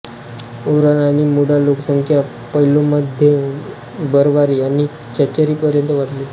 ओराण आणि मुंडा लोकसंख्या पल्मौमध्ये बरवारी आणि चेचरीपर्यंत वाढली